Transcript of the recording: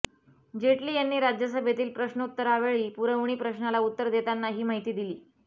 जेटली यांनी राज्यसभेतील प्रश्नोत्तरावेळी पुरवणी प्रश्नाला उत्तर देताना ही माहिती दिली